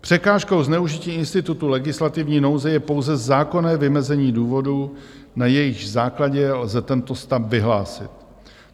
Překážkou zneužití institutu legislativní nouze je pouze zákonné vymezení důvodů, na jejichž základě lze tento stav vyhlásit.